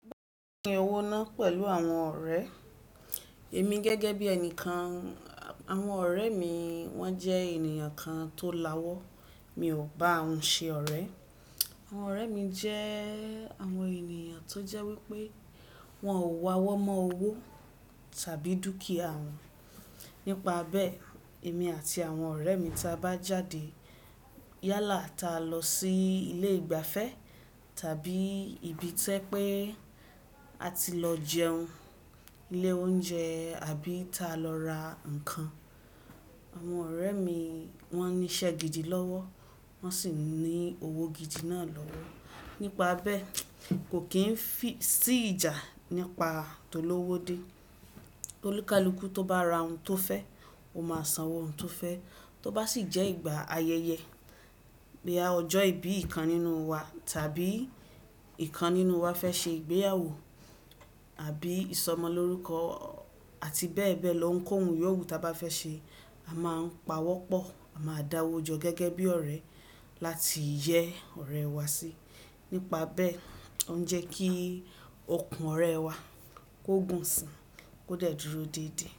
Pín owó ná pẹ̀lú àwọn ọ̀rẹ́? Èmi gẹ́gẹ́ bí ẹnìkan, àwọn ọ̀rẹ́ mi wọ́n jẹ́ ènìyàn kan tó lawọ́, mi ò bá ahun ṣe ọ̀rẹ́. Àwọn ọ̀rẹ́ mi jẹ́ àwọn ènìyàn tó jẹ́ wípé wọn ò wa wọ́mọ́ owó tàbí dúkìà wọn. Nípa bẹ́ẹ̀, èmi àti àwọn ọ̀rẹ́ mi tí a bá jáde yálà táa lọ sí ilé ìgbafẹ́ tàbí ibi tí ẹ pé a ti lọ jẹun, ilé oúnjẹ àbí ta lọ ra ǹkan. Àwọn ọ̀rẹ́ mi wọ́n ní iṣẹ́ gidi lọ́wọ́, wọ́n sì ní owó gidi náà lọ́wọ́. Nípa bẹ́ẹ̀, kò kí n fì sí ìjà nípa to lówó dé. Tolúkalúku tó bá ra ohun tó fẹ́, ó máa sanwó ohun tó fẹ́. Tó bá sì jẹ́ ìgbà ayẹyẹ bí i ọjọ́ ìbí ìkan nínú wa tàbí ìkan nínú wa fẹ́ ṣe ìgbéyàwó àbí ìsọmọlórúkọ àti bẹ́ẹ̀ bẹ́ẹ̀ lọ ń kóhun yòwú ta bá fẹ́ ṣe, a máa ń pawọ́ pọ̀, a máa dáwọ́ jọ gẹ́gẹ́ bí ọ̀rẹ́ láti yẹ ọ̀rẹ́ wá sí. Nípa bẹ́ẹ̀, ó ń jẹ́ kí ọkùn ọ̀rẹ́ wá kó gùn si, kó dẹ̀dúro dédé.